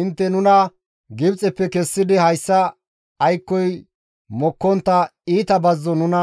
Intte nuna Gibxeppe kessidi hayssa aykkoy mokkontta iita bazzo nuna